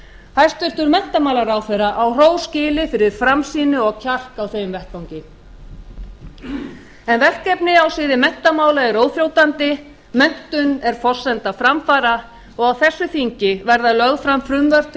hæstvirtur menntamálaráðherra á hrós skilið fyrir framsýni og kjark á þeim vettvangi verkefni á sviði menntamála eru óþrjótandi menntun er forsenda framfara og á þessu þingi verða lögð fram frumvörp til